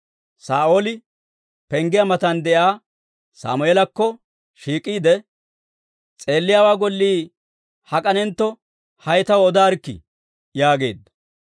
Saa'ooli penggiyaa matan de'iyaa Sammeelakko shiik'iide, «S'eelliyaawaa gollii hak'anentto hay taw odaarikkii?» yaageedda.